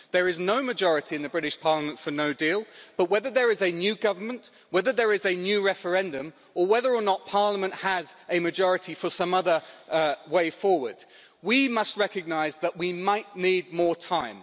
There is no majority in the British Parliament for no deal but, whether there is a new government, whether there is a new referendum or whether or not Parliament has a majority for some other way forward, we must recognise that we might need more time.